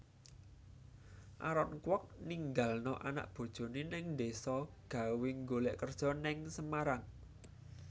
Aaron Kwok ninggalno anak bojone nang deso gawe nggolek kerjo nang Semarang